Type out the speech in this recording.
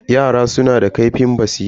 Yara suna da ƙaifin basira.